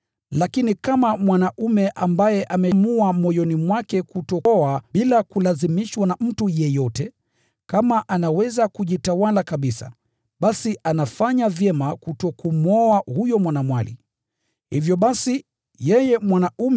Lakini mwanaume ambaye ameamua moyoni mwake kutooa bila kulazimishwa na mtu yeyote, bali anaweza kuzitawala tamaa zake kutomwoa huyo mwanamwali, basi anafanya ipasavyo.